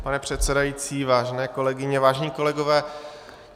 Pane předsedající, vážené kolegyně, vážení kolegové.